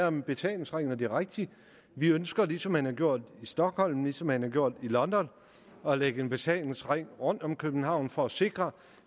om en betalingsring og det er rigtigt at vi ønsker ligesom man har gjort i stockholm ligesom man har gjort i london at lægge en betalingsring rundt om københavn for at sikre